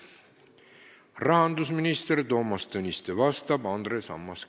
Vastab rahandusminister Toomas Tõniste ja küsib Andres Ammas.